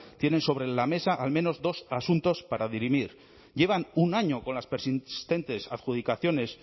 tienen sobre la mesa al menos dos asuntos para dirimir llevan un año con las persistentes adjudicaciones